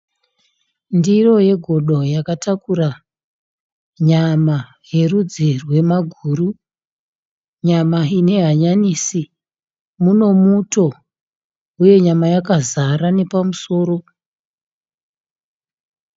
Ndiro yegodo yakatakura nyama yerudzi rwemaguru. Nyama ine hanyanisi munomuto uye nyama yakazara nepamusoro.